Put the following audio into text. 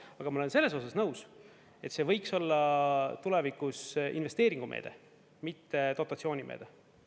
Aga ma olen selles osas nõus, et see võiks olla tulevikus investeeringumeede, mitte dotatsioonimeede.